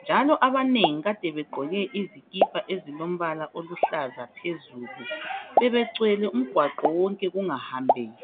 njalo abanengi ade begqoke izikipa ezilombala oluhlaza phezulu bebegcwele umgwaqo wonke kungahambeki